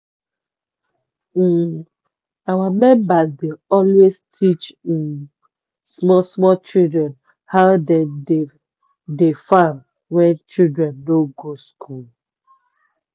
um our members dey always teach um small small children how dem dey dey farm when children no go school.